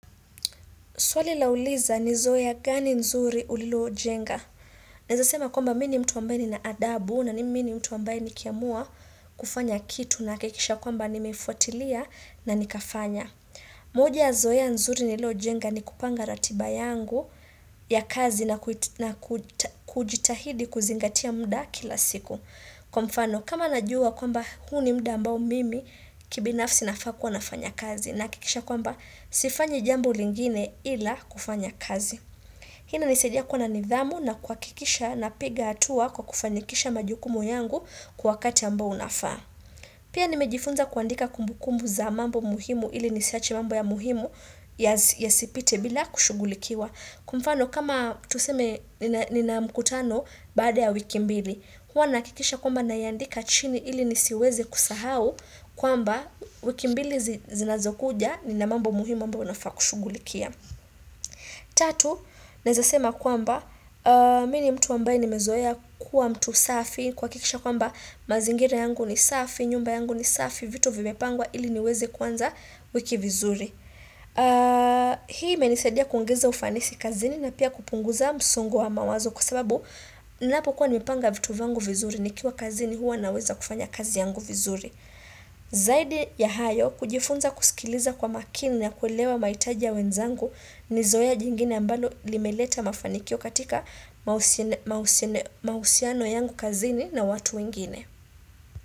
Swali lauliza ni zoea gani nzuri ulilo jenga. Naweza sema kwamba mimi ni mtu ambaye ninaadabu na mimi ni mtu ambaye ni kiamua kufanya kitu nahakikisha kwamba nimefuatilia na nikafanya. Moja ya zoea nzuri nililo jenga ni kupanga ratiba yangu ya kazi na kujitahidi kuzingatia muda kila siku. Kwa mfano, kama najua kwamba huu ni muda ambao mimi kibinafsi nafaa kuwa nafanya kazi nahakikisha kwamba sifanyi jambo lingine ila kufanya kazi. Hii ina nisaidia kuwa na nidhamu na kuhakikisha na piga hatua kwa kufanikisha majukumu yangu kwa wakati ambao unafaa. Pia nimejifunza kuandika kumbukumbu za mambo muhimu ili nisiache mambo ya muhimu ya sipite bila kushugulikiwa. Kwamfano kama tuseme nina mkutano baada ya wiki mbili Huwa nahakikisha kwamba nayaandika chini ili nisiweze kusahau kwamba wiki mbili zinazokuja ni namambo muhimu ambayo nafaakushugulikia Tatu, nawezasema kwamba Mimi ni mtu ambaye nimezoea kuwa mtu safi kuhakikisha kwamba mazingira yangu ni safi, nyumba yangu ni safi vitu vimepangwa ili niweze kuanza wiki vizuri Hii imenisadia kuongeza ufanisi kazini na pia kupunguza msongo wa mawazo kwasababu ninapokuwa nimepanga vitu vyangu vizuri nikiwa kazini huwa naweza kufanya kazi yangu vizuri Zaidi ya hayo kujifunza kusikiliza kwa makini na kuelewa maitaji ya wenzangu nizoea jingine ambalo limeleta mafanikio katika mahusiano yangu kazini na watu wengine.